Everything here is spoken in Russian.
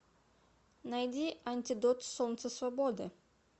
найди антидот солнце свободы